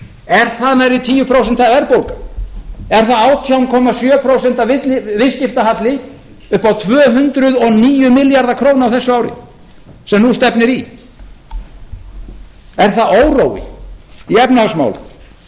er það nærri tíu prósent verðbólga er það átján komma sjö prósent viðskiptahalli upp á tvö hundruð og níu milljarða króna á þessu ári sem nú stefnir í er það órói í efnahagsmálum